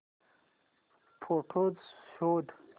photos शोध